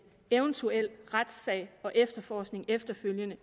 eventuel retssag og efterforskning efterfølgende